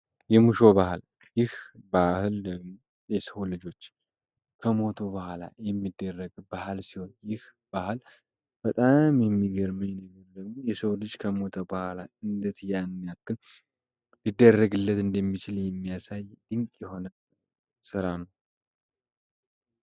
የሙሾ ባህል ይህ ባህል የሰው ልጆች ከሞቶ በኋላ የሚደረግ ባህል ሲሆን ይህ ባል በጣም የሚገርመኝ የሰው ልጅ ከሞተ በኋላ ያን ያክል እንደሚችል የሚያሳይ የሆነ ስራ ነው።